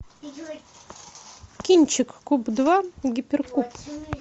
кинчик куб два гиперкуб